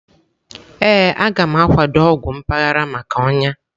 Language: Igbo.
Ee, a gam akwado ọgwụ mpaghara maka ọnya.-